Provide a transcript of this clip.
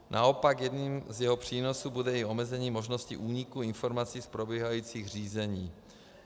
Naopak jedním z jeho přínosů bude i omezení možnosti úniku informací z probíhajících řízení.